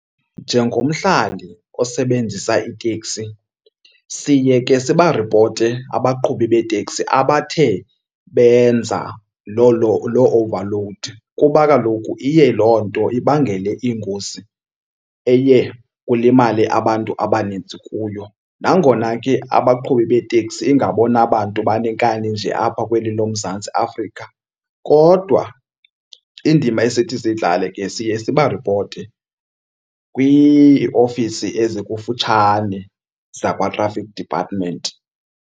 Njengomhlali osebenzisa itekisi siye ke sibaripote abaqhubi beeteksi abathe benza loo overload kuba kaloku iye loo nto ibangele ingozi eye kulimale abantu abaninzi kuyo. Nangona ke abaqhubi beeteksi ingabona bantu baneenkani nje apha kweli loMzantsi Afrika kodwa indima esithi siyidlale ke siye sibaripote kwiiofisi ezikufutshane zakwaTraffic Department.